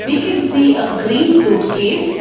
We can see a green suitcase.